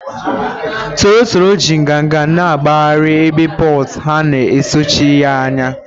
toro toro ji nganga na-agbagharị, ebe poults ha na-esochi ya anya